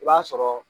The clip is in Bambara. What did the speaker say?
I b'a sɔrɔ